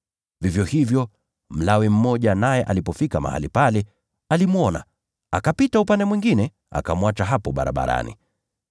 Vivyo hivyo, Mlawi mmoja naye alipofika mahali pale, alimwona, akapita upande mwingine, akamwacha hapo barabarani